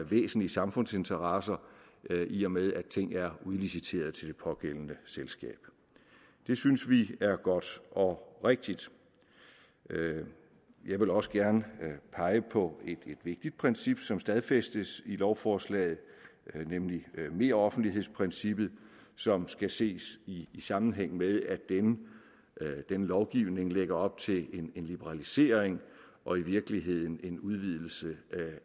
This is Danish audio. væsentlige samfundsinteresser i og med at ting er udliciteret til det pågældende selskab det synes vi er godt og rigtigt jeg vil også gerne pege på et vigtigt princip som stadfæstes i lovforslaget nemlig meroffentlighedsprincippet som skal ses i sammenhæng med at denne denne lovgivning lægger op til en liberalisering og i virkeligheden en udvidelse